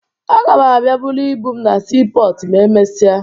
Aga m abịa buru ibu m na siipọọtụ ma emesịa